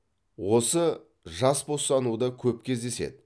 осы жас босануда көп кездеседі